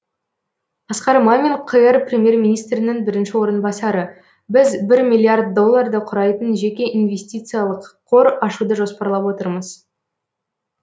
асқар мамин қр премьер министрінің бірінші орынбасары біз бір миллиард долларды құрайтын жеке инвестициялық қор ашуды жоспарлап отырмыз